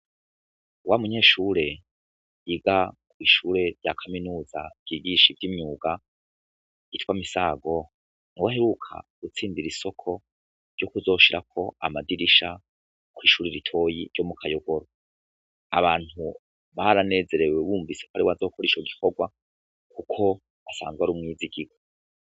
Wa munyeshure yiga kwishure rya kaminuza ryigisha ivyimyuga yitwa Misago niwe aheruka gutsindirisoko ryo kuzoshirako amadirisha kwishure ritoyi ryo Mukayogoro, abantu baranezerewe bumvise ko ariwe azokora ico gikorwa kuko asanzwe ari umwizigirwa.